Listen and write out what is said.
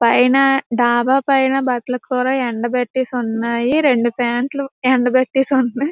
పైన డాబా పైన బట్టలు కూడా ఎండబెట్టేసి వున్నాయి. రెండు ప్యాంట్లు ఎండ బెట్టేసి వున్నాయి.